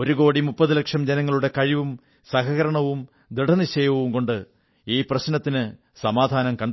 ഒരുകോടി മുപ്പതുലക്ഷം ജനങ്ങളുടെ കഴിവും സഹകരണവും ദൃഢനിശ്ചയവും കൊണ്ട് ഈ പ്രശ്നത്തിന് സമാധാനം കണ്ടെത്തും